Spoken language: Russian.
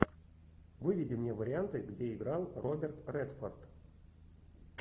выведи мне варианты где играл роберт редфорд